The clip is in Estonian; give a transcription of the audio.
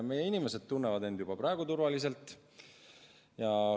Meie inimesed tunnevad end juba praegu turvaliselt.